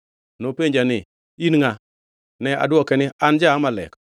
“Nopenja ni, ‘In ngʼa?’ “Ne adwoke ni, ‘An ja-Amalek.’